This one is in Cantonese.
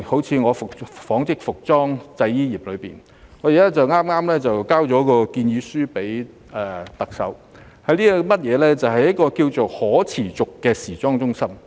以我所屬的紡織服裝製衣業為例，我剛向特首提交了建議書，提議在大灣區內建設可持續的時裝中心。